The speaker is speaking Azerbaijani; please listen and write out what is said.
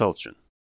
Misal üçün.